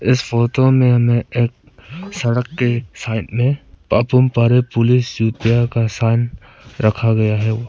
इस फोटो में सड़क के साइड में पपूम परे पुलिस यूपीया का चाइन रखा गया है।